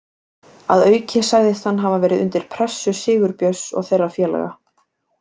Að auki sagðist hann hafa verið undir pressu Sigurbjörns og þeirra félaga.